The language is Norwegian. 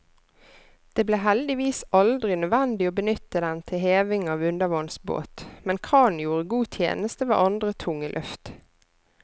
Det ble heldigvis aldri nødvendig å benytte den til heving av undervannsbåt, men kranen gjorde god tjeneste ved andre tunge løft.